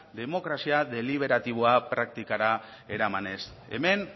demokrazioa deliberatiboa praktikara eramanez hemen